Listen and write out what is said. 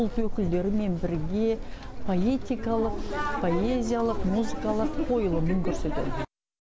өзге ұлт өкілдерімен бірге поэтикалық поэзиялық музыкалық қойылым көрсетеді